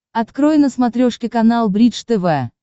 открой на смотрешке канал бридж тв